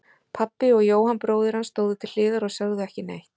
Pabbi og Jóhann bróðir hans stóðu til hliðar og sögðu ekki neitt.